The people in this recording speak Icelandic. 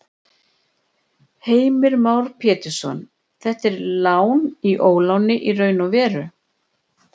Heimir Már Pétursson: Þetta er lán í óláni í raun og veru?